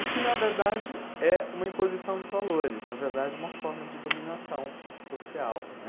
E que, na verdade, é uma imposição de valores, na verdade, é uma forma de dominação social, né?